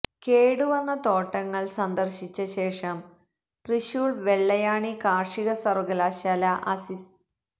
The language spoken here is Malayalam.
കേടുവന്ന തോട്ടങ്ങള് സന്ദര്ശിച്ച ശേഷം തൃശൂര് വെള്ളായണി കാര്ഷിക സര്വകലാശാല അസി